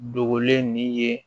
Dogolen nin ye